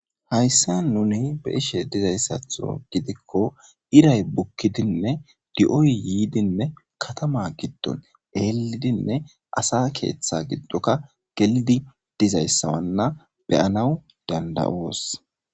Hayssa nuni be ishe dizayssatho gidikko iray bukkidinne di7oy yiidinne katama giddon eelidinne asa keeththa giddoka gelidi dizayssawanna beyanaw dandayoos.